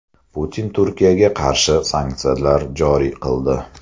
Putin Turkiyaga qarshi sanksiyalar joriy qildi.